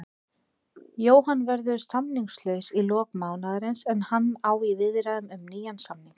Jóhann verður samningslaus í lok mánaðarins en hann á í viðræðum um nýjan samning.